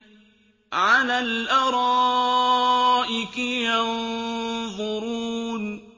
عَلَى الْأَرَائِكِ يَنظُرُونَ